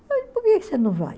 por que que você não vai?